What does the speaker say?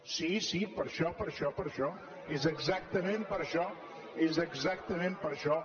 sí sí per això per això és exactament per això és exactament per això